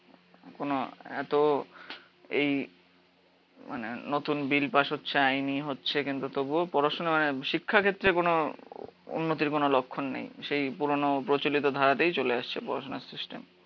কোনো এতো এই মানে নতুন বিল পাশ হচ্ছে আইনি হচ্ছে কিন্তু তবুও পড়াশুনা মানে শিক্ষা ক্ষেত্রে কোনো উন্নতির কোনো যখন নেই। সেই পুরোনো প্রচলিত ধারেতেই চলে আসছে পড়াশুনার সিস্টেম।